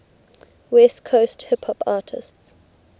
west coast hip hop artists